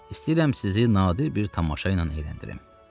İstəyirəm sizi nadir bir tamaşa ilə əyləndirim.